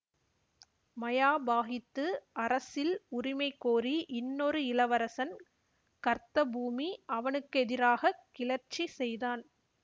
மயாபாகித்து அரசில் உரிமைகோரி இன்னொரு இளவரசன் கர்த்தபூமி அவனுக்கெதிராகக் கிளர்ச்சி செய்தான்